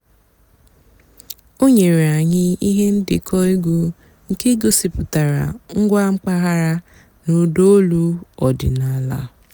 ó nyèéré ànyị́ íhé ǹdékọ́ ègwú nkè gosìpụ́tárá ǹgwá m̀pàghàrà nà ụ́dà ólú ọ̀dị́náàlà.